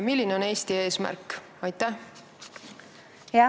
Milline on Eesti eesmärk?